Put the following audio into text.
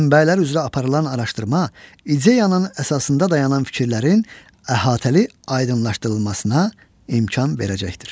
Mənbələr üzrə aparılan araşdırma ideyanın əsasında dayanan fikirlərin əhatəli aydınlaşdırılmasına imkan verəcəkdir.